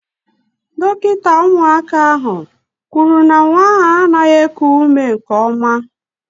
Dọkịta ụmụaka ahụ kwuru na nwa ahụ anaghị eku ume nke ọma.